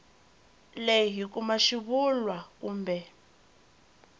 leyi hi kuma xivulwa kumbe